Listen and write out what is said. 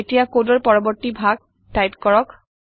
এতিয়া কডৰ পৰবৰ্তী ভাগ টাইপ কৰক